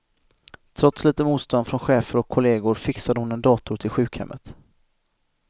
Trots lite motstånd från chefer och kollegor fixade hon en dator till sjukhemmet.